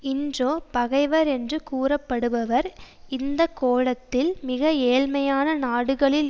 இன்றோ பகைவர் என்று கூறப்படுபவர் இந்த கோளத்தில் மிக ஏழ்மையான நாடுகளில்